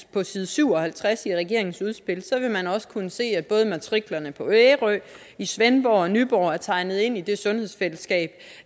på side syv og halvtreds i regeringens udspil vil man også kunne se at både matriklerne på ærø i svendborg og nyborg er tegnet ind i det sundhedsfællesskab